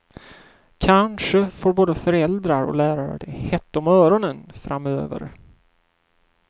Kanske får både föräldrar och lärare det hett om öronen framöver.